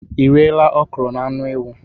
I riela okro na anu ewu?